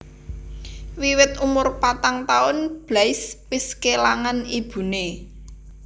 Wiwit umur patang taun Blaise wis kélangan ibuné